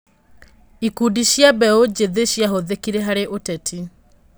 Ikundi cia mbeũ njĩthĩ ciahũthĩkire harĩ ũteti.